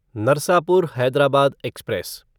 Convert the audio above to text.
Narsapur Hyderabad express